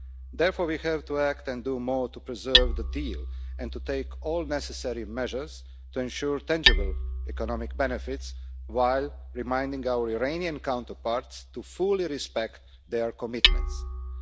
Therefore, we have to act to do more to preserve the deal, and to take all necessary measures to ensure tangible economic benefits, while reminding our Iranian counterparts to respect their commitments fully.